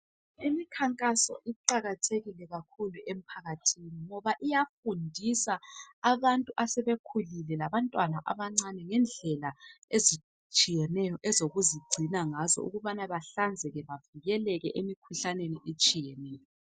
Imikhankaso iqakathekile kakhulu emphakathini ngoba iyafundisa abantu asebekhulile labantwana abancane ngendlela ezitshiyeneyo ezokuzigcina ngazo ukubana bahlanzeke bavikeleke emikhuhlaneni etshiyeneyo.